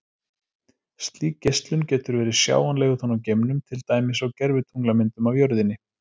Slík geislun getur verið sjáanleg utan úr geimnum, til dæmis á gervitunglamyndum af jörðinni.